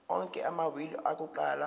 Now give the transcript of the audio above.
onke amawili akuqala